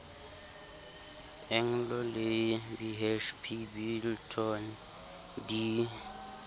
anglo le bhp billiton di